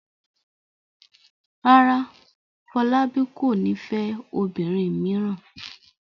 Rárá, Fọlábí kò ní fẹ́ obìnrin mìíràn.